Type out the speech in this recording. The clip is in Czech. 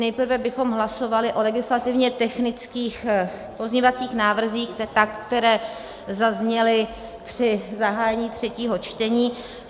Nejprve bychom hlasovali o legislativně technických pozměňovacích návrzích, které zazněly při zahájení třetího čtení.